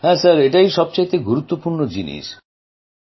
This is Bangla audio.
হ্যাঁ সার ওটাই সবচেয়ে গুরুত্বপূর্ণ জিনিস